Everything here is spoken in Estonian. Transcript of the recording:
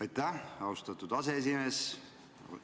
Aitäh, austatud aseesimees!